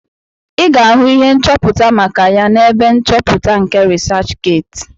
Ị ga-ahụ ihe nchọpụta maka ya n'ebe nchọpụta nke rịsachgeeti